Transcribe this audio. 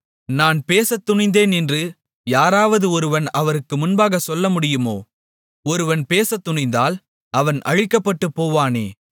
நான் பேசத்துணிந்தேன் என்று யாராவது ஒருவன் அவருக்கு முன்பாகச் சொல்லமுடியுமோ ஒருவன் பேசத்துணிந்தால் அவன் அழிக்கப்பட்டுப்போவானே